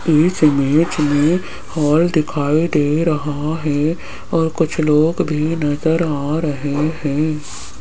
इस इमेज में हॉल दिखाई दे रहा है और कुछ लोग भी नजर आ रहे हैं।